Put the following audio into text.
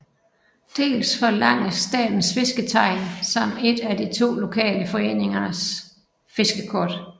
Dels forlanges Statens Fisketegn samt et af to lokale foreningers fiskekort